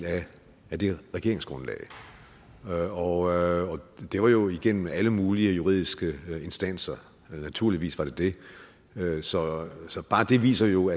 af det regeringsgrundlag og det var jo igennem alle mulige juridiske instanser naturligvis var det det så det viser jo